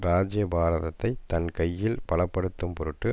ராஜ்யபாரத்தைத் தன் கையில் பல படுத்தும் பொருட்டு